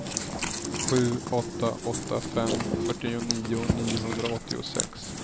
sju åtta åtta fem fyrtionio niohundraåttiosex